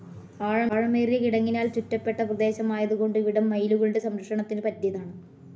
ആഴമേറിയ കിടങ്ങിനാൽ ചുറ്റപ്പെട്ട പ്രദേശമായതുകൊണ്ടു ഇവിടം മയിലുകളുടെ സംരക്ഷണത്തിനു പറ്റിയതാണ്.